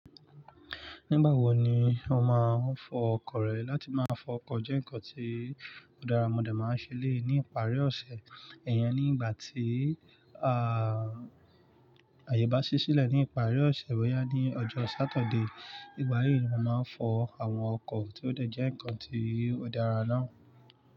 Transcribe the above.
Nígbà wo ni o máa ń fọ ọkọ̀ rẹ? Láti máa fọ ọkọ̀ jẹ́ nǹkan tí ọ̀ darà mo de máa ń ṣe eléyii ní ìparí ọ̀sẹ̀. Iyẹn ní ìgbà tí, à, ayẹ bá sí sílẹ̀ ní ìparí ọ̀sẹ̀ boya ní ọjọ́ Saturday. Ìgbà yí ni mo máa ń fọ àwọn ọkọ̀ tí ó de jẹ́ nǹkan tí ọ̀ darà náà.